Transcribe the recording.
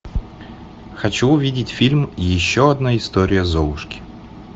хочу увидеть фильм еще одна история золушки